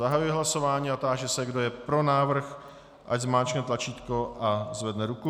Zahajuji hlasování a táži se, kdo je pro návrh, ať zmáčkne tlačítko a zvedne ruku.